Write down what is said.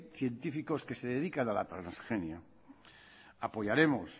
científicos que se dedican a la transgenia apoyaremos